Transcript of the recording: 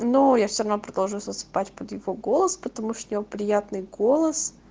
ну я всё равно продолжаю засыпать под его голос потому что у него приятный голос